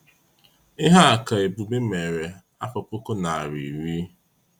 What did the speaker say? Ihea ka Ebube mere afọ puku narị iri